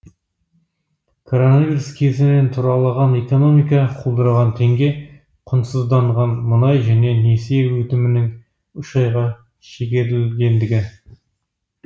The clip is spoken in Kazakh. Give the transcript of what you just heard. коронавирус кесірінен тұралаған экономика құлдыраған теңге құнсызданған мұнай және несие өтемінің үш айға шегерілгендігі